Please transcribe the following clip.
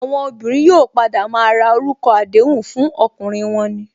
Àwọn obìnrin yóò padà maa ra orúkọ àdéhùn fún ọkùnrin wọn ni